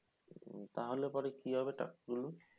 উম তাহলে পরে কী হবে টাকা গুলো?